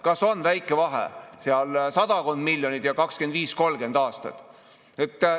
Kas on väike vahe: sadakond miljonit ja 25–30 aastat?